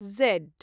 झड्